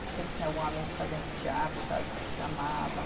Sempre tinha algum amigo fazendo teatro e tal, e que chamava.